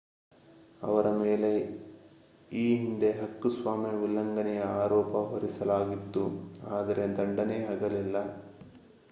ಅವರ ಮೇಲೆ ಈ ಹಿಂದೆ ಹಕ್ಕುಸ್ವಾಮ್ಯ ಉಲ್ಲಂಘನೆಯ ಆರೋಪ ಹೊರಿಸಲಾಗಿತ್ತು ಆದರೆ ದಂಡನೆಯಾಗಲಿಲ್ಲ